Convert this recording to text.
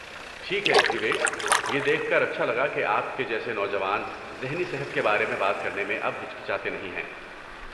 ٹھیک ہے، وویک، یہ دیکھ کر اچھا لگا کہ آپ کے جیسے نوجوان ذہنی صحت کے بارے میں بات کرنے میں اب ہچکچاتے نہیں ہیں۔